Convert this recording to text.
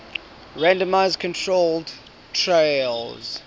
randomized controlled trials